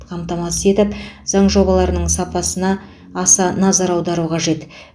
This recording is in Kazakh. қамтамасыз етіп заң жобаларының сапасына аса назар аудару қажет